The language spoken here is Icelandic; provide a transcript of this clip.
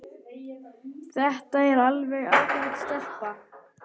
Þetta er alveg ágæt stelpa.